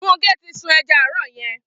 Funke ti sùún ẹ̀já árọ̀ yèn